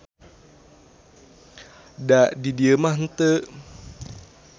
Da di dieu mah henteu.